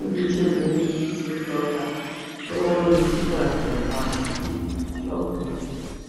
níbi tí obìnrin yìí ti ń lọtà lọwọ ní tipa tẹ é pa sí lọkẹ